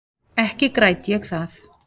Ekki græt ég það.